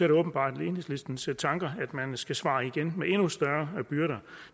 det åbenbart enhedslistens tanke at man skal svare igen med endnu større byrder